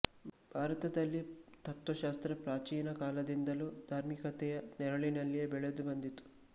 ಭಾರತದಲ್ಲಿ ತತ್ತ್ವಶಾಸ್ತ್ರ ಪ್ರಾಚೀನ ಕಾಲದಿಂದಲೂ ಧಾರ್ಮಿಕತೆಯ ನೆರಳಿನಲ್ಲಿಯೆ ಬೆಳೆದು ಬಂದಿತು